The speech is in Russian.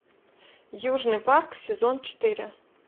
южный парк сезон четыре